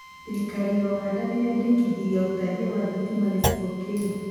Thirikari ya ũganda nĩrendekithĩrĩria ũtambia wa thitima gĩcigo kĩu